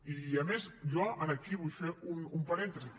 i a més jo aquí vull fer un parèntesi